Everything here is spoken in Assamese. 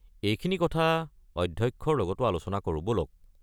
এইখিনি কথা অধ্যক্ষৰ লগতো আলোচনা কৰো ব'লক।